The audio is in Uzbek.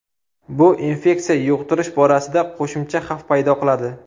Bu infeksiya yuqtirish borasida qo‘shimcha xavf paydo qiladi.